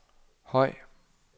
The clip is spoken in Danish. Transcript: høj